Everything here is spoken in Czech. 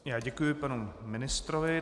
Já děkuji panu ministrovi.